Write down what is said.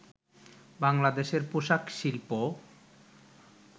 বাংলাদেশের পোশাক শিল্প